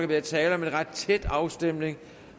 være tale om en ret tæt afstemning